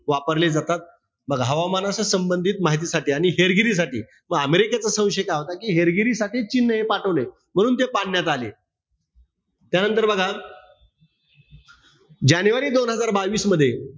वापरले जातात. बघा, हवामानाच्या संबंधित माहितीसाठी आणि हेरगिरीसाठी. म अमेरिकेचा संशय काय होता कि हेरगिरीसाठी चीनने हे पाठवलय. म्हणून ते पाडण्यात आले. त्यानंतर बघा जानेवारी दोन हजार बावीस मध्ये,